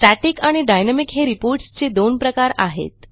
static आणि dynamic हे Reportsचे दोन प्रकार आहेत